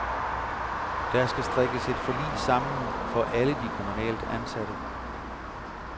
Der skal strikkes et forlig sammen for alle de kommunalt ansatte.